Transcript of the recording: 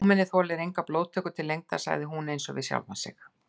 Fámennið þolir enga blóðtöku til lengdar sagði hún einsog við sjálfa sig.